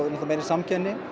meiri samkeppni